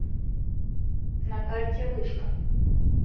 на карте вышка